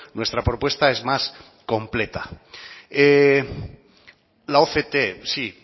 nuestra propuesta es más completa la oct sí